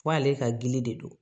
K'ale ka gili de don